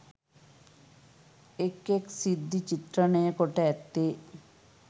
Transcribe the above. එක්, එක් සිද්ධි චිත්‍රණය කොට ඇත්තේ